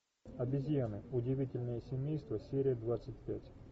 обезьяны удивительное семейство серия двадцать пять